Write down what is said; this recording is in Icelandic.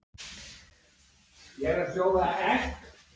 Brynhildur Ólafsdóttir: Er búið að komast á öll svæði?